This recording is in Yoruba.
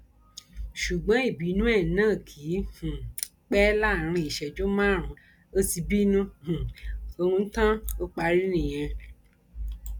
ṣùgbọn ìbínú ẹ náà kì um í pẹ láàrin ìṣẹjú márùnún ó ti bínú um ọhún tán ó parí nìyẹn